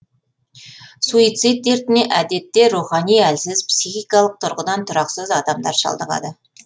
суицид дертіне әдетте рухани әлсіз психикалық тұрғыдан тұрақсыз адамдар шалдығады